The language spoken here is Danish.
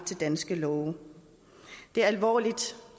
til danske love det er alvorligt